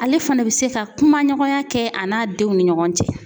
Ale fana bi se ka kumaɲɔgɔnya kɛ a n'a denw ni ɲɔgɔn cɛ.